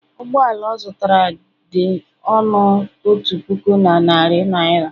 ụgbọ ala ọ zụtara dị ọnụ otu puku, na narị naira